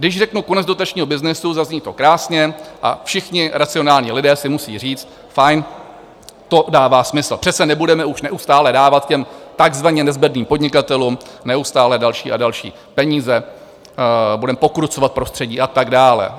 Když řeknu konec dotačního byznysu, zazní to krásně a všichni racionální lidé si musí říct: fajn, to dává smysl, přece nebudeme už neustále dávat těm takzvaně nezbedným podnikatelům neustále další a další peníze, budeme pokrucovat prostředí a tak dále.